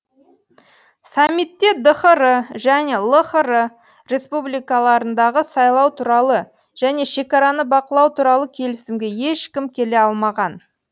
саммитте дхр және лхр республикаларындағы сайлау туралы және шекараны бақылау туралы келісімге ешкім келе алмаған